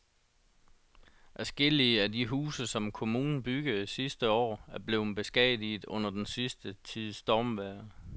Adskillige af de huse, som kommunen byggede sidste år, er blevet beskadiget under den sidste tids stormvejr.